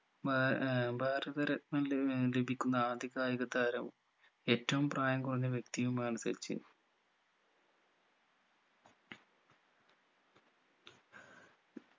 മ ഏർ ഭാരത രത്‌നം ലാ ഏർ ലഭിക്കുന്ന ആദ്യ കായിക താരം ഏറ്റവും പ്രായം കുറഞ്ഞ വ്യക്തിയുമാണ് സച്ചിൻ